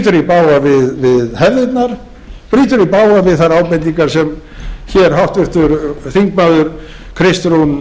í bága við hefðirnar brýtur í bága við þær ábendingar sem hér háttvirtur þingmaður kristrún